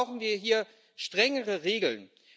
Deshalb brauchen wir hier strengere Regeln.